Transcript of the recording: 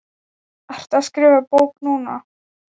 Ertu að skrifa bók núna?